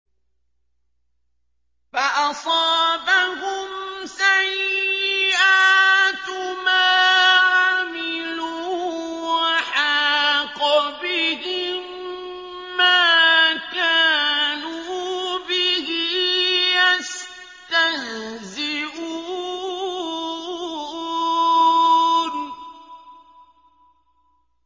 فَأَصَابَهُمْ سَيِّئَاتُ مَا عَمِلُوا وَحَاقَ بِهِم مَّا كَانُوا بِهِ يَسْتَهْزِئُونَ